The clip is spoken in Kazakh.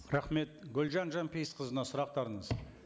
рахмет гүлжан жанпейісқызына сұрақтарыңыз